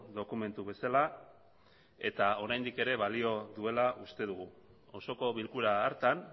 dokumentu bezala eta oraindik ere balio duela uste dugu osoko bilkura hartan